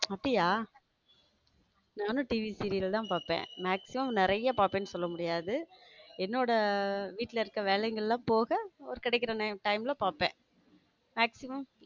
அப்படிய நானும் TVserial தான் பார்ப்பேன் maximum நிறைய பாப்பேன்னு சொல்ல முடியாது என்னோட வீட்ல இருக்க வேலையெல்லாம் போக கிடைக்கிற time ல பார்ப்பேன maximum.